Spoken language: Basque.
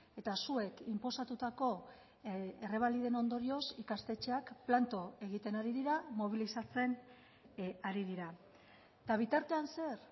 eta zuek inposatutako errebaliden ondorioz ikastetxeak planto egiten ari dira mobilizatzen ari dira eta bitartean zer